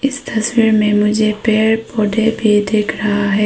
इस तस्वीर में मुझे पेड़ पौधे भी दिख रहा है।